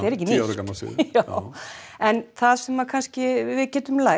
ekki nýtt en það sem við getum lært